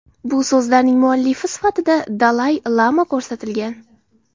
Bu so‘zlarning muallifi sifatida Dalay-lama ko‘rsatilgan.